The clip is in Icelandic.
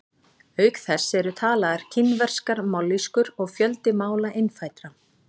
Auk þess eru talaðar kínverskar mállýskur og fjöldi mála innfæddra.